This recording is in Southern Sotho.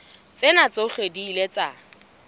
tsena tsohle di ile tsa